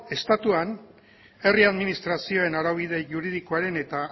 estatuan herri administrazioen araubide juridikoaren eta